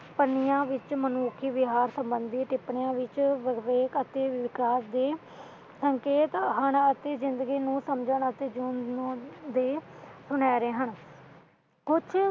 ਪੰਨਿਆਂ ਵਿੱਚ ਮਨੁੱਖੀ ਵਿਹਾਰ ਸਬੰਧਤ ਟਿਪਣੀਆਂ ਵਿੱਚ ਵਿਵੇਕ ਅਤੇ ਵਿਹਾਰ ਦੇ ਸੰਕੇਤ ਜੰਨ ਜੀਵਨ ਨੂੰ ਸਮਝਣ ਦੇ ਸੁਨਹਿਰੇ ਹਨ ਕੁਛ